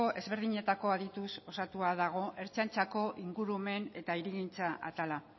ezberdinetako adituz osatua dago ertzaintzako ingurumen eta hirigintza atala